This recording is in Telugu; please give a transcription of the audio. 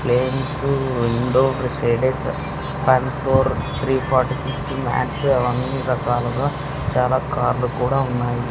అవన్నీ రకాలుగా చాలా కార్లు కూడా ఉన్నాయి.